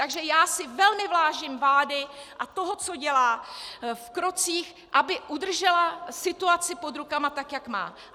Takže já si vážné vážím vlády a toho, co dělá v krocích, aby udržela situaci pod rukama tak, jak má.